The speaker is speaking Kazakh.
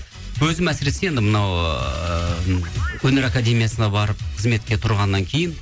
өзім әсіресе енді мынау ыыы өнер академиясына барып қызметке тұрғаннан кейін